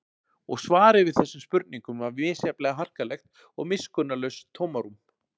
Og svarið við þessum spurningum var misjafnlega harkalegt og miskunnarlaust tómarúm.